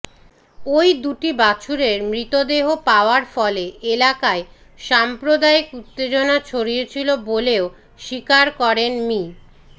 ওই দুটি বাছুরের মৃতদেহ পাওয়ার ফলে এলাকায় সাম্প্রদায়িক উত্তেজনা ছড়িয়েছিল বলেও স্বীকার করেন মি